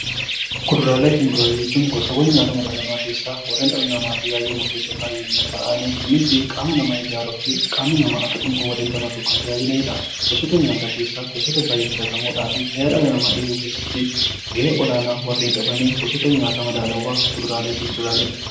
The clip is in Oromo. Kuduraalee fi muduraalee jechuun gosoota nyaata madaalamaa keessaa warreen dhala namaatiif baay'ee murteessoo ta'anii Kunis qaama namaa ijaaruuf qaamni namaa Akka dhukkuba damdamataniif tajaajilanidha.